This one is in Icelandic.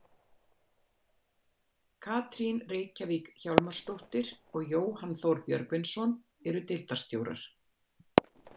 Katrín Reykjavík Hjálmarsdóttir og Jóhann Þór Björgvinsson eru deildarstjórar.